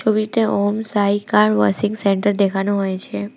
ছবিতে Om Sai car washing centre দেখানো হয়েছে।